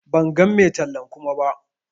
Ban gan mai tallan Kuma ba.